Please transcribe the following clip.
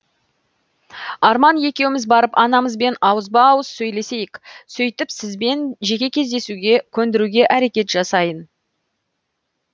арман екеуміз барып анамызбен ауызба ауыз сөйлесейік сөйтіп сізбен жеке кездесуге көндіруге әрекет жасайын